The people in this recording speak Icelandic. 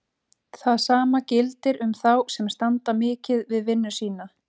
Það sama gildir um þá sem standa mikið við vinnu sína.